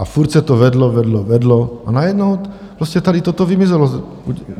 A furt se to vedlo, vedlo, vedlo, a najednou prostě tady toto vymizelo.